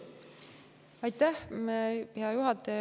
Aitäh, hea juhataja!